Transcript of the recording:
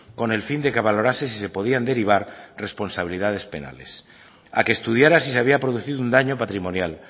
con el fin de que valorase si se podían derivar responsabilidades penales a que estudiara si se había producido un daño patrimonial